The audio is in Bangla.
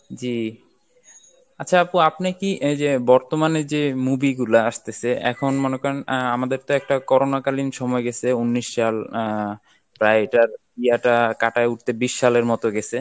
জী, আচ্ছা আপু আপনি কি এই যে বর্তমানে যে movie গুলা আসতেছে এখন মনে করেন আহ আমাদের তো একটা corona কালীন সময় গেছে উনিশ সাল অ্যা প্রায় এটার ইয়েটা কাটায় উঠতে বিশ সালের মতো গেছে